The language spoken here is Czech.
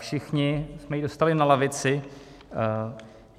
Všichni jsme ji dostali na lavici.